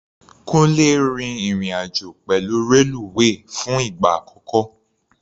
Kúńlé rin ìrìn-àjò pẹ̀lú reluwe fún ìgbà àkọ́kọ́.